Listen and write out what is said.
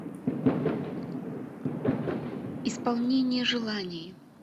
исполнение желаний